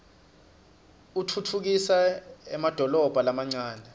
utfutfukisa emadolobha lamancane